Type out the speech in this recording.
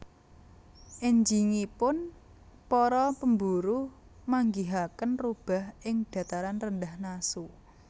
Enjingipun para pemburu manggihaken rubah ing Dataran Rendah Nasu